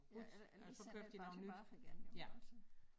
Ja eller ellers sender de bare tilbage igen jo ikke også